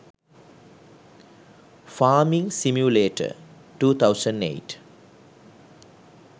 farming simulator 2008